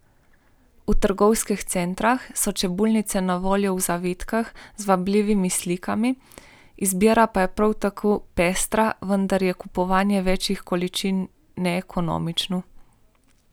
V trgovskih centrih so čebulnice na voljo v zavitkih, z vabljivimi slikami, izbira je prav tako pestra, vendar je kupovanje večjih količin neekonomično.